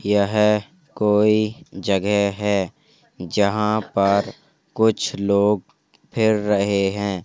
यह कोई जगह है जहां पर कुछ लोग फिर रहे हैं।